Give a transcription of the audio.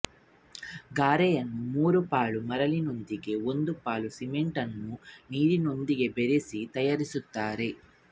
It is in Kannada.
ಗಾರೆಯನ್ನು ಮೂರುಪಾಲು ಮರಳಿನೊಂದಿಗೆ ಒಂದು ಪಾಲು ಸಿಮೆಂಟನ್ನು ನೀರಿನೊಂದಿಗೆ ಬೆರೆಸಿ ತಯಾರಿಸುತ್ತಾರೆ